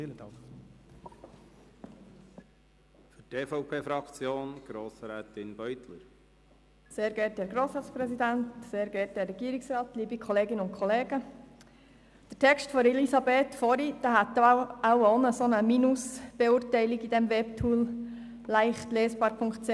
Das Votum von Grossrätin Striffeler hätte wohl vom Webtool leichtlesbar.ch auch eine Beurteilung im negativen Bereich erhalten.